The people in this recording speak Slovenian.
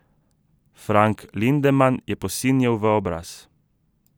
Frank Lindeman je posinjel v obraz.